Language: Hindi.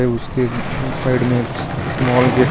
उसके साइड में स्मॉल गेट है.